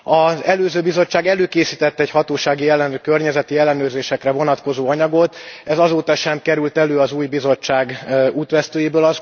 Az előző Bizottság előkészített egy hatósági környezeti ellenőrzésekre vonatkozó anyagot, ez azóta sem került elő az új Bizottság útvesztőjéből.